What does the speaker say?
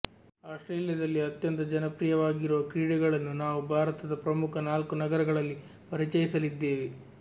ಆಸ್ಟ್ರೇಲಿಯದಲ್ಲಿ ಅತ್ಯಂತ ಜನಪ್ರಿಯವಾಗಿರುವ ಕ್ರೀಡೆಗಳನ್ನು ನಾವು ಭಾರತದ ಪ್ರಮುಖ ನಾಲ್ಕು ನಗರಗಳಲ್ಲಿ ಪರಿಚಯಿಸಲಿದ್ದೇವೆ